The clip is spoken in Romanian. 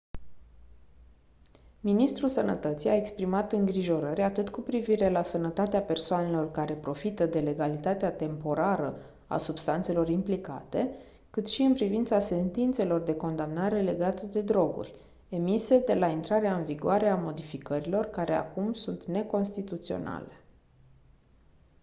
ministrul sănătății a exprimat îngrijorări atât cu privire la sănătatea persoanelor care profită de legalitatea temporară a substanțelor implicate cât și în privința sentințelor de condamnare legate de droguri emise de la intrarea în vigoare a modificărilor care acum sunt neconstituționale